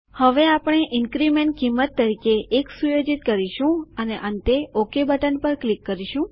હવે આપણે ઇન્ક્રીમેન્ટ કિંમત તરીકે 1 સુયોજિત કરીશું અને અંતે ઓકે બટન પર ક્લિક કરીશું